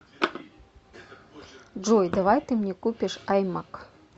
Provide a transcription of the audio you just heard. джой давай ты мне купишь аймак